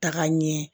Taga ɲɛ